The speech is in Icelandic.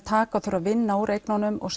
taka og þurfa að vinna úr eignunum og